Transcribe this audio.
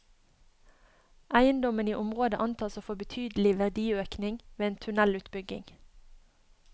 Eiendommene i området antas å få betydelig verdiøkning ved en tunnelutbygging.